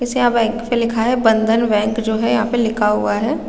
जैसे यहाँ बैंक पे लिखा है बंधन बैंक जो है यहाँ पे लिखा हुआ है।